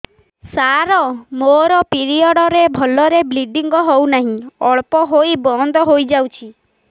ସାର ମୋର ପିରିଅଡ଼ ରେ ଭଲରେ ବ୍ଲିଡ଼ିଙ୍ଗ ହଉନାହିଁ ଅଳ୍ପ ହୋଇ ବନ୍ଦ ହୋଇଯାଉଛି